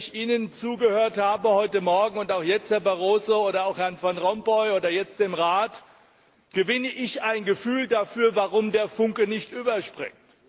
Als ich Ihnen zugehört habe heute Morgen und auch jetzt, Herr Barroso, oder auch Herrn Van Rompuy oder dem Rat, gewinne ich ein Gefühl dafür, warum der Funke nicht überspringt.